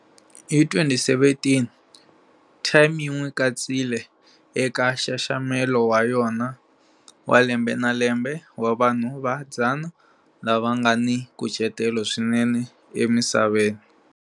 Hi 2017,"Time" yi n'wi katsile eka nxaxamelo wa yona wa lembe na lembe wa vanhu va 100 lava nga ni nkucetelo swinene emisaveni.